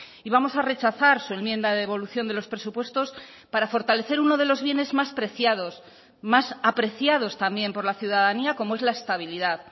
y vamos a rechazar su enmienda de devolución de los presupuestos para fortalecer uno de los bienes más preciados más apreciados también por la ciudadanía como es la estabilidad